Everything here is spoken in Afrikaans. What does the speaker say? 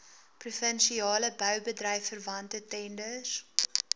provinsiale boubedryfverwante tenders